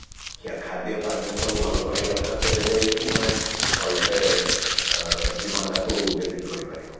ଖାଦ୍ୟ ପାନ୍ୟ ସବୁ ଭଲ କରିବା ଦରକାର ତେବେ ଯାଇକି ତମେ ଭଲସେ ଜୀବନଟାକୁ ବ୍ୟତୀତ କରି ପାରିବ